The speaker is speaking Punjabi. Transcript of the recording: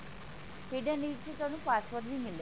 hidden ਵਿੱਚ ਤੁਹਾਨੂੰ password ਵੀ ਮਿਲੇਗਾ